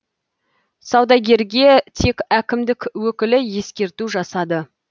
саудагерге тек әкімдік өкілі ескерту жасады